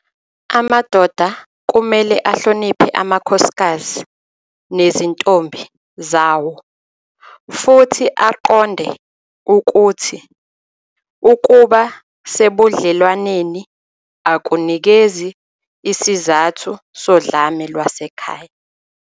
Amadoda kumele ahloniphe amakhosikazi nezintombi zawo futhi aqonde ukuthi ukuba sebudlelwaneni akunikezi isizathu sodlame lwasekhaya.